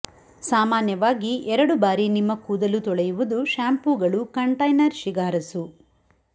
ಸಾಮಾನ್ಯವಾಗಿ ಎರಡು ಬಾರಿ ನಿಮ್ಮ ಕೂದಲು ತೊಳೆಯುವುದು ಶ್ಯಾಂಪೂಗಳು ಕಂಟೈನರ್ ಶಿಫಾರಸು